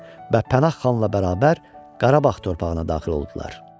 Və Pənah xanla bərabər Qarabağ torpağına daxil oldular.